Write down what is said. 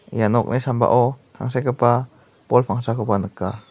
ia nokni sambao tangsekgipa bol pangsakoba nika.